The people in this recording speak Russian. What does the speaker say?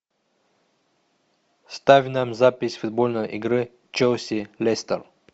ставь нам запись футбольной игры челси лестер